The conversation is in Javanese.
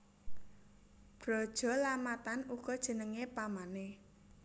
Brajalamatan uga jenengé pamané